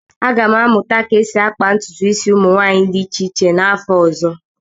Aga m amụta ka esi akpa ntụtụ isi ụmụ nwanyị dị iche iche n'afọ ọzọ